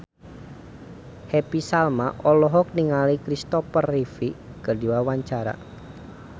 Happy Salma olohok ningali Kristopher Reeve keur diwawancara